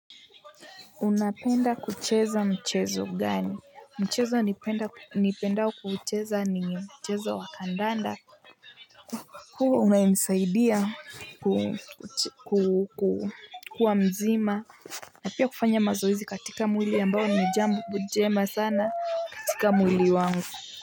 Unapenda kucheza mchezo gani? Mchezo nipendao kuucheza ni mchezo wa kandanda kwa kuwa umenisaidia kuwa mzima na pia kufanya mazoezi katika mwili ambao nijambo jema sana katika mwili wangu.